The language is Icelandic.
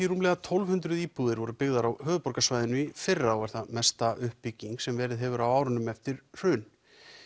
rúmlega tólf hundruð íbúðir voru byggðar á höfuðborgarsvæðinu í fyrra og er það mesta uppbygging sem verið hefur á árunum eftir hrun